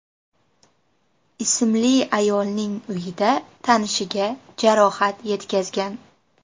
ismli ayolning uyida tanishiga jarohat yetkazgan.